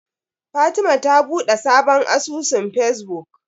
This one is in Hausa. Fatima ta buɗe sabon asusun Fesbuk.